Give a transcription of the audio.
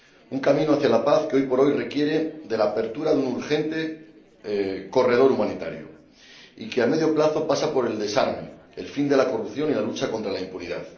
Un camino hacia la paz que, hoy por hoy, requiere la apertura urgente de un corredor humanitario y que, a medio plazo, pasa por el desarme, el fin de la corrupción y la lucha contra la impunidad.